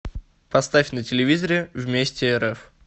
поставь на телевизоре вместе рф